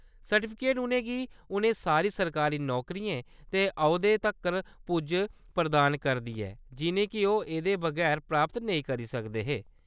Certificate उʼनें गी उ'नें सारी सरकारी नौकरियें ते औह्‌दें तक्कर पुज्ज प्रदान करदा ऐ, जिʼनेंगी ओह्‌‌ एह्दे बगैर प्राप्त नेईं करी सकदे हे।